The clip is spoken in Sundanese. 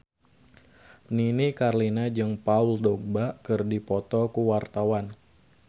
Nini Carlina jeung Paul Dogba keur dipoto ku wartawan